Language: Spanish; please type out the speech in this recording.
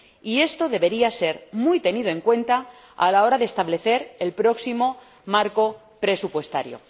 Y esto debería ser tenido muy en cuenta a la hora de establecer el próximo marco presupuestario.